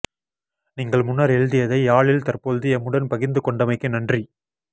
நீங்கள் முன்னர் எழுதியதை யாழில் தற்பொழுது எம்முடன் பகிர்ந்து கொண்டமைக்கு நன்றி